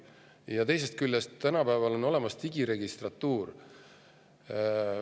Ja teisest küljest, tänapäeval on olemas digiregistratuur.